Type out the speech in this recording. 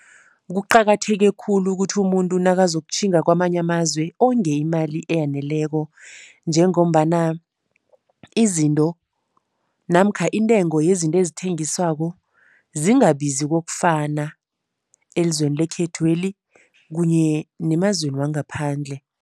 Kuqakatheke khulu ukuthi umuntu nakazokutjhinga kwamanye amazwe onge imali eyaneleko. Njengombana izinto namkha intengo yezinto ezithengiswako zingabizi kokufana elizweni lekhethweli kunye nemazweni wangaphandle.